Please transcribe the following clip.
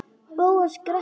Bóas gretti sig.